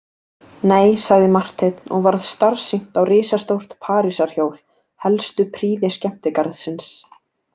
Nei, sagði Marteinn og varð starsýnt á risastórt Parísarhjól, helstu prýði skemmtigarðsins.